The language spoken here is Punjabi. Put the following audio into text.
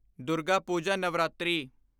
ਦੁਰਗਾ ਪੂਜਾ ਨਵਰਾਤਰੀ